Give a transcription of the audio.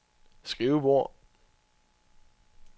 skrivebord